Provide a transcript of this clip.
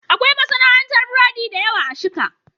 Akwai masana'antar burodi da yawa a Shika.